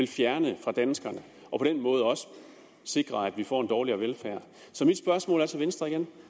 fjerne fra danskerne og på den måde også sikre at vi får en dårligere velfærd så mit spørgsmål er til venstre igen